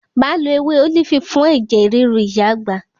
Máa lọ ewé ólífì fún ẹ̀jẹ̀ ríru ìyá àgbà.